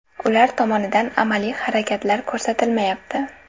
Ular tomonidan amaliy harakatlar ko‘rsatilmayapti.